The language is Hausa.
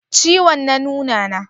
Ciwon na nuna na?